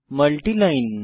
multi line